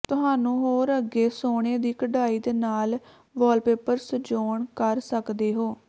ਤੁਹਾਨੂੰ ਹੋਰ ਅੱਗੇ ਸੋਨੇ ਦੀ ਕਢਾਈ ਦੇ ਨਾਲ ਵਾਲਪੇਪਰ ਸਜਾਉਣ ਕਰ ਸਕਦੇ ਹੋ